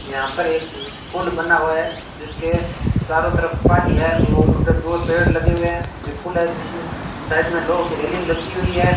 यहां पर एक पुल बना हुआ है जिसके चारों तरफ पानी है और उधर दूर पेड़ लगे हुए हैं ये पुल है जिसमें साइड में लोहो की रेलिंग लगी हुई है।